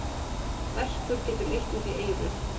Verkur getur leitt út í eyru.